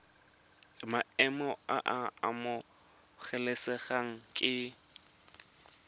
maemo a a amogelesegang ke